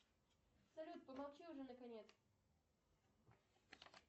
салют помолчи уже наконец